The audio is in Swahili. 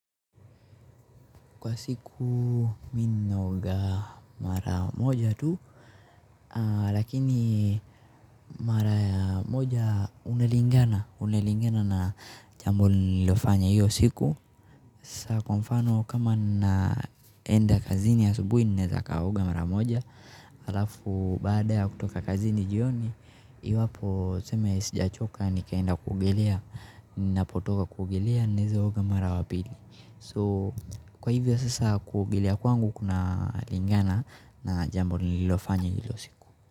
Kwa siku mimi ninaoga mara moja tu lakini mara moja inalingana na jambo nililofanya hio siku kwa mfano kama ninaenda kazini asubuhi ninaweza nikaoga mara moja alafu baada ya kutoka kazini jioni iwapo tuseme sijachoka nikaenda kuogelea ninapotoka kuogelea naweza oga mara ya pili. Kwa hivyo sasa kuogelea kwangu kunalingana na jambo nililofanya hio siku.